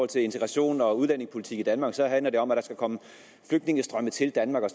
til integration og udlændingepolitik i danmark så handler det om at der skal komme flygtningestrømme til danmark og